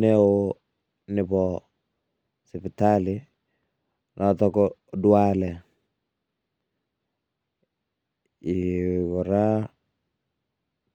neo nebo sipitali noto ko Ndwale ee kora.